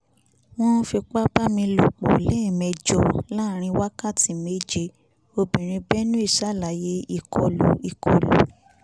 wọ́n fipá bá mi lò pọ̀ lẹ́ẹ̀mejò láàárín wákàtí méje obìnrin benue ṣàlàyé ìkọlù ìkọlù